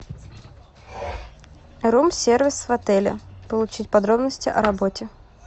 рум сервис в отеле получить подробности о работе